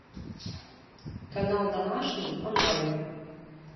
канал домашний онлайн